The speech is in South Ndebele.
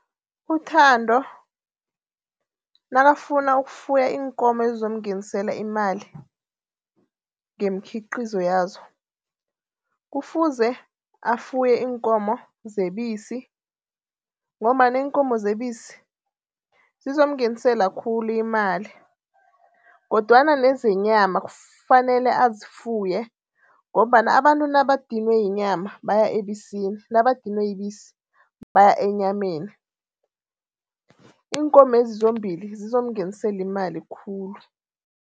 UThando nakafuna ukufuya iinkomo ezizomngenisela imali ngeemkhiqizo yazo. Kufuze afuye iinkomo zebisi ngombana iinkomo zebisi zizomngenisela khulu imali. Kodwana nezenyama kufanele azifuye ngombana abantu nabadinwe yinyama baya ebisini nakabadinwe yibisi baya enyameni. Iinkomezi zombili zizokumngenisela imali khulu.